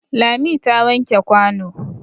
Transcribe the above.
Lami ta wanke kwano.